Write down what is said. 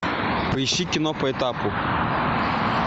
поищи кино по этапу